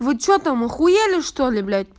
вы что там ахуели чтоли блядь